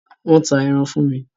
Wọ́n ta ẹran fún mi.